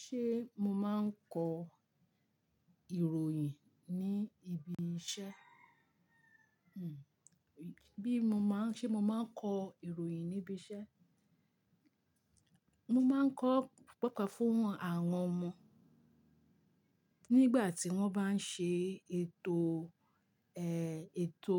Ṣé mo máa ń kọ ìròyìn ní ibi iṣẹ́? Hmm, bí mo máa ń ṣé mo máa ń kọ ìròyìn níbi iṣẹ́. Mo máa ń kọ paapaa fún àwọn ọmọ nígbà tí wọ́n bá ń ṣe ètò, ẹ, ètò